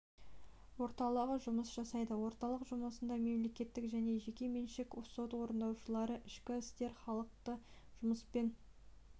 орталығы жұмыс жасайды орталық жұмысына мемлекеттік және жеке меншік сот орындаушылары ішкі істер халықты жұмыспен